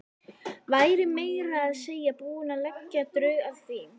Væri meira að segja búin að leggja drög að því.